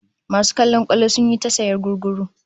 Masu kallon kwallon sun yi ta sayan gugguru